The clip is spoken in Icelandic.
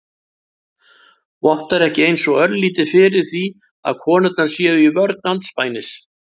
Vottar ekki eins og örlítið fyrir því að konurnar séu í vörn andspænis